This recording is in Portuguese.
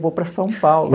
Eu vou para São Paulo.